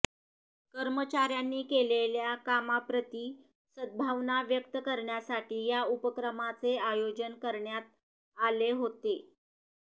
कर्मचाऱ्यांनी केलेल्या कामाप्रती सद्भावना व्यक्त करण्यासाठी या उपक्रमाचे आयोजन करण्यात आले होतं